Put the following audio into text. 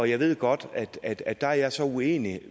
jeg ved godt at at der er jeg så uenig